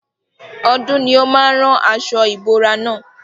Ọdún ni ó máa rán aṣo ìbora na.